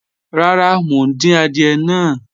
Rárá, mo ń dín àdìẹ̀ náà.